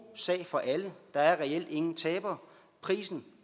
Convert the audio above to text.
sag for alle der er reelt ingen tabere prisen